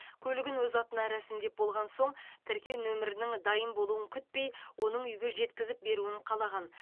көлігін өз атына рәсімдеп болған соң тіркеу нөмірінің дайын болуын күтпей оның үйге жеткізіп беруін қалаған